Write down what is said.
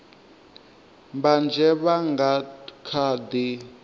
mbanzhe vha nga kha ḓi